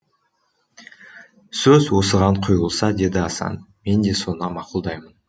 сөз осыған құйылса деді асан мен де соны мақұлдаймын